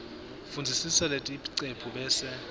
fundzisisa leticephu bese